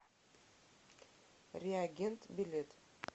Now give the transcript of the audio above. реагент билет